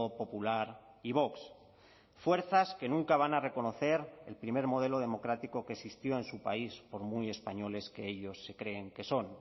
popular y vox fuerzas que nunca van a reconocer el primer modelo democrático que existió en su país por muy españoles que ellos se creen que son